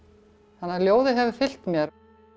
að ljóðið hefur fylgt mér